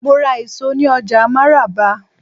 Mo ra èso ní ọjà máràba.